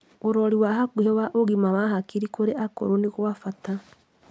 Ũrori wa hakuhĩ wa ũgima wa hakiri kũrĩ akũrũ nĩ gwa bata